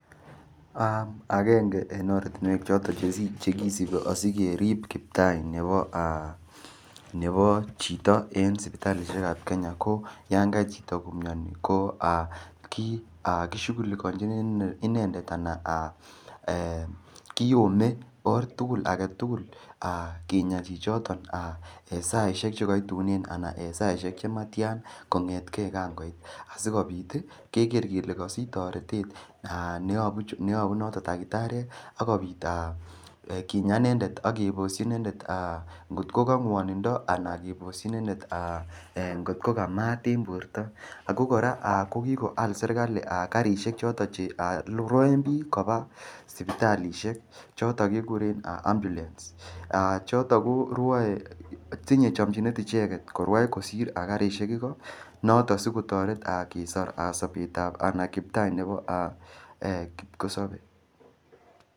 Akenge eng ortunwek choto chekisipi asikerip kiptai nepo chito eng sipitalishek ap Kenya ko yakaimian chito ko kishughulikonjini inendet anan kiyone or aketukul kinya chichiton saishek chikaitunen anan saishek chimatian kongetke ka ngoit asikopit kekerei kele Kasich taretet neapu noto dakitariek akopit kinya inendet akeposhi inendet atko ko ngwonindo anan koposhin inendet ngotko ka maat eng porto ako kora kikoal serikali karishek choton cheruoen piik kopa sipitalishek choto kekuren ambulance choto ko ruoe tinyei chomchinet icheket korwai kosir karishek iko noto ko sikotoret kisor sopet ap anai kiptai nepo kipkosopei